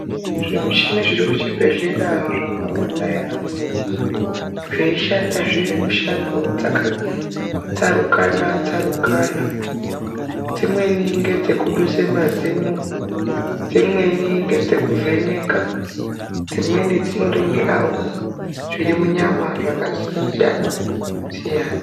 Zvemushini zviri muchibhedhlera zvakawanda yaampo zveishanda zve mushando dzakatsarukana tsarukana dzimweni ngedzekuduse mazino dzimweni ngedzekuvheneka dzimweni dzinoringirawo zviri munyama zvakasiyana siyana.